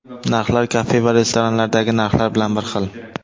Narxlar kafe va restoranlardagi narxlar bilan bir xil.